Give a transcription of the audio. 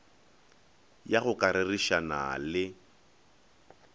ya go ka rerišana le